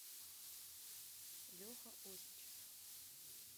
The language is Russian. леха осичев